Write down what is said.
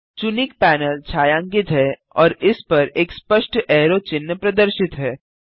चुनिक panel छायांकित है और इस पर एक स्पष्ट ऐरो चिन्ह प्रदर्शित है